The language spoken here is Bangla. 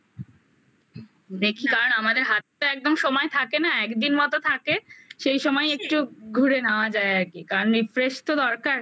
দেখি কার আমাদের হাতটা একদম সময় থাকে না একদিন মত থাকে সেই সময় একটু ঘুরে নেওয়া যায় আর কি কারণ এই refresh তো দরকার